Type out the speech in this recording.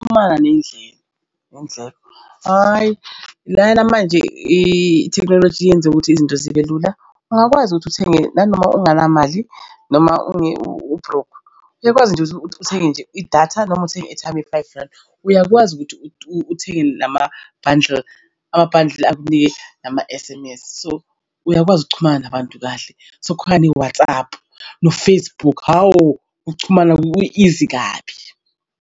Xhumana hhayi lana manje ithekhnoloji kuyenzeka ukuthi izinto zibe lula. Ungakwazi ukuthi uthenge nanoma unganamali noma unge u-broke uyakwazi ukuthi uthenge nje idatha noma uthenge airtime ye-five rand uyakwazi ukuthi uthenge nama-bundle ama-bundle akunike nama-S_M_S so uyakwazi ukuxhumana nabantu kahle. Sekukhona ne-WhatsApp no-Facebook. Hawu ukuxhumana ku-easy kabi.